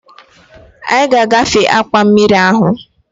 Anyị ga-agafe akwa mmiri ahụ